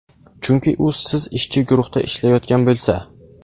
Chunki u siz ishchi guruhda ishlayotgan bo‘lsa.